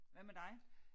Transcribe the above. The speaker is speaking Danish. Hvad med dig?